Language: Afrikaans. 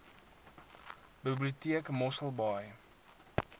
biblioteek mossel baai